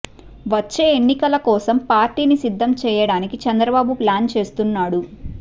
వచ్చే ఎన్నికల కోసం పార్టీని సిద్దం చేయడానికి చంద్రబాబు ప్లాన్ చేస్తున్నాడు